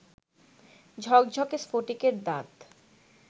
ঝকঝকে স্ফটিকের দাঁত